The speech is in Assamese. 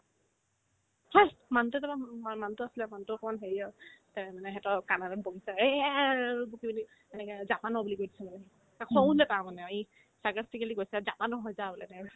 হেহ্ মানুহতোৰ তাৰপাই উম উম মই মানুহতো আছিলে মানুহতো অকমান হেৰি অ তে মানে সেইটোও অ' কানাড়াত বকিছে এ ই এ এ আৰ অ' ৰ' বকি পিনে এনেকে জাপানৰ বুলি কৈ দিছে সেনেকে তাৰ খঙো উঠিলে তাৰ মানে আৰু ই sarcastically কৈছে আৰু জাপানৰ হয় যা বোলে তাৰ পিছত